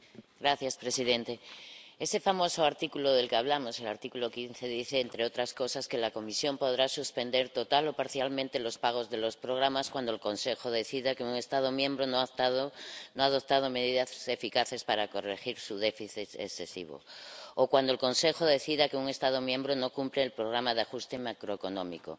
Señor presidente, ese famoso artículo del que hablamos, el artículo 15, dice, entre otras cosas, que la Comisión podrá suspender total o parcialmente los pagos de los programas cuando el Consejo decida que un Estado miembro no ha adoptado medidas eficaces para corregir su déficit excesivo, o cuando el Consejo decida que un Estado miembro no cumple el programa de ajuste macroeconómico.